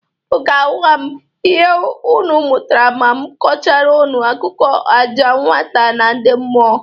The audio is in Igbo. Ụnụ ga-agwa m ihe ụnụ mụtara ma m kọchara ụnụ akụkọ ọja nwata na ndị mmụọ.